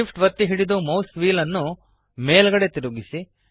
SHIFT ಒತ್ತಿ ಹಿಡಿದು ಮೌಸ್ನ ವ್ಹೀಲ್ ನ್ನು ಮೇಲ್ಗಡೆಗೆ ತಿರುಗಿಸಿ